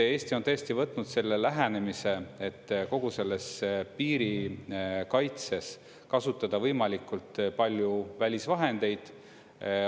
Eesti on tõesti võtnud selle lähenemise, et kogu selles piirikaitses kasutada võimalikult palju välisvahendeid.